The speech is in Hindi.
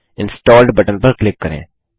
इंस्टॉल्ड बटन पर क्लिक करें